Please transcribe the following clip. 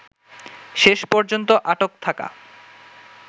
শেষ পর্যন্ত আটক থাকা